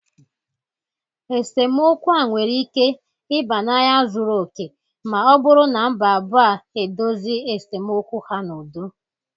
Esemokwu a nwere ike ịba n'agha zuru oke ma ọ bụrụ na mba abụọ a edozi esemokwu ha n'udo.